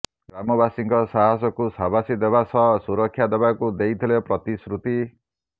ଗ୍ରାମବାସୀଙ୍କ ସାହାସକୁ ସାବାସି ଦେବା ସହ ସୁରକ୍ଷା ଦେବାକୁ ଦେଇଥିଲେ ପ୍ରତିଶ୍ରୁତି